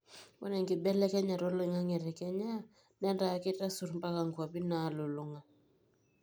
ore enkibelekenyata olaingange te kenya netaa keitasur mpaka nkuapi naalulung'a